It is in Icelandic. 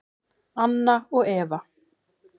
Anna og Eva.